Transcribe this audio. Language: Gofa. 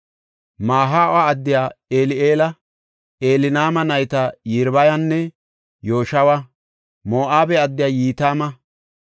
Mahaawa addiya Eli7eela, Elnaama nayta Yiribayanne Yoshawa, Moo7abe addiya Yitima,